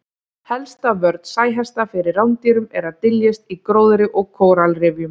Helsta vörn sæhesta fyrir rándýrum er að dyljast í gróðri og kóralrifjum.